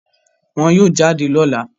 Wọ́n yóò jáde lọ́la